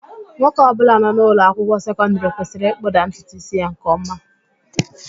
Nwoke ọbụla nọ n'ụlọ akwụkwọ sekọndịrị kwesịrị ịkpụda ntutu ísí ya nke ọma